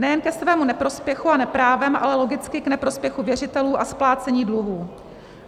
Nejen ke svému neprospěchu a neprávem, ale logicky k neprospěchu věřitelů a splácení dluhů.